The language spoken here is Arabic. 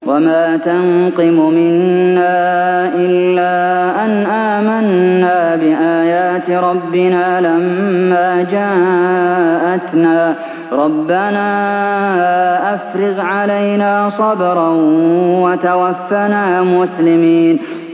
وَمَا تَنقِمُ مِنَّا إِلَّا أَنْ آمَنَّا بِآيَاتِ رَبِّنَا لَمَّا جَاءَتْنَا ۚ رَبَّنَا أَفْرِغْ عَلَيْنَا صَبْرًا وَتَوَفَّنَا مُسْلِمِينَ